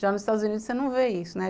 Já nos Estados Unidos você não vê isso, né?